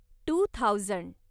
two thousand